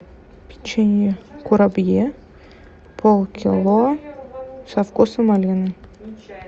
печенье курабье полкило со вкусом малины